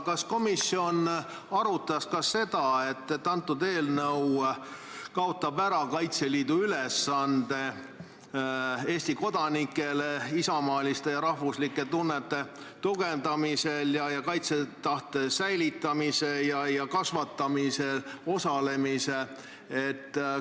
Kas komisjon arutas ka seda, et see eelnõu kaotab ära Kaitseliidu ülesande Eesti kodanike isamaaliste ja rahvuslike tunnete tugevdamiseks ja kaitsetahte säilitamiseks ja kasvatamises osalemiseks?